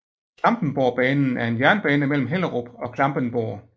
Klampenborgbanen er en jernbane mellem Hellerup og Klampenborg